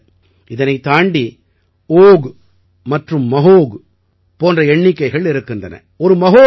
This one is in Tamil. இது மட்டுமல்ல இதனைத் தாண்டி ஓக் மற்றும் மஹோக் போன்ற எண்ணிக்கைகள் இருக்கின்றன